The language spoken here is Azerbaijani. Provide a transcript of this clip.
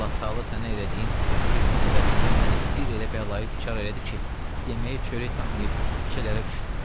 Allah-Təala sənə elədiyim zülmün əvəzində məni bir elə bəlayə düçar elədi ki, yeməyə çörək tapmayıb küçələrə düşdüm.